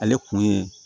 Ale kun ye